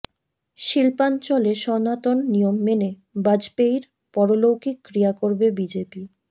শিল্পাঞ্চলে সনাতন নিয়ম মেনে বাজপেয়ীর পারলৌকিক ক্রিয়া করবে বিজেপি